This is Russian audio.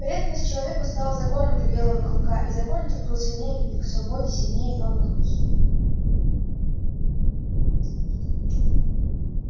преданность человеку стала законом для белого клыка и закон этот был сильнее любви к свободе сильнее кровных уз